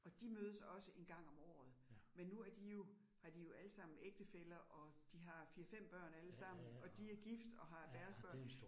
Og de mødes også 1 gang om året, men nu er de jo, har de jo allesammen ægtefæller og de har 4 5 børn allesammen, og de gift og har deres børn